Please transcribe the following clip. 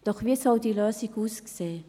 Doch wie soll diese Lösung aussehen?